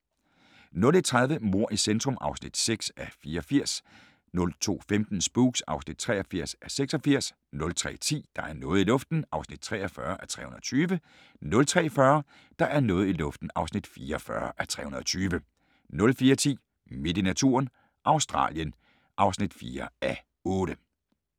01:30: Mord i centrum (6:84) 02:15: Spooks (83:86) 03:10: Der er noget i luften (43:320) 03:40: Der er noget i luften (44:320) 04:10: Midt i naturen – Australien (4:8)